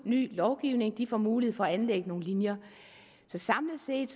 i ny lovgivning de får mulighed for at anlægge nogle linjer så samlet set